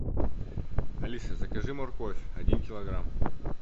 алиса закажи морковь один килограмм